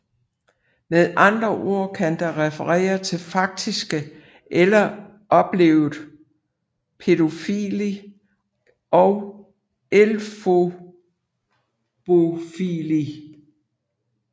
Med andre ord kan det referere til faktisk eller oplevet pædofili og efebofili